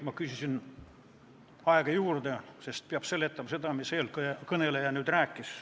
Ma küsisin aega juurde, sest peab seletama seda, mida eelkõneleja rääkis.